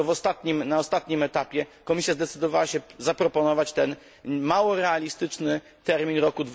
Dopiero na ostatnim etapie Komisja Europejska zdecydowała się zaproponować ten mało realistyczny termin rok